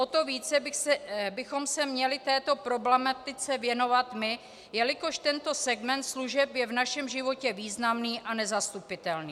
O to více bychom se měli této problematice věnovat my, jelikož tento segment služeb je v našem životě významný a nezastupitelný.